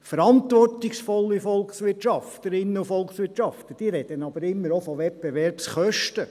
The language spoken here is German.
Verantwortungsvolle Volkswirtschaftlerinnen und Volkswirtschaftler reden aber immer auch von Wettbewerbskosten.